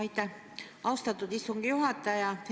Aitäh, austatud istungi juhataja!